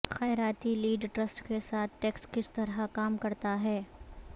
خیراتی lead trust کے ساتھ ٹیکس کس طرح کام کرتا ہے